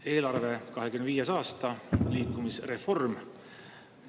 Eelarve, 2025. aasta, liikuvusreform.